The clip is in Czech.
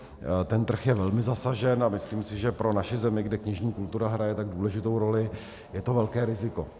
Ten trh je velmi zasažen a myslím si, že pro naši zemi, kde knižní kultura hraje tak důležitou roli, je to velké riziko.